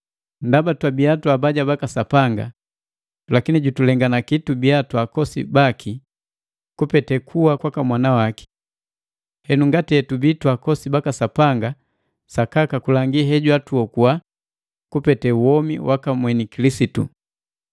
Ndaba twabia twaabaja baka Sapanga lakini jutulenganaki tubia twaakosi baki kupete kuwa kwaka Mwana waki. Henu ngati hetubii twaakosi baka Sapanga sakaka kulangi he jwatuokuwa kupete womi waka mweni Kilisitu.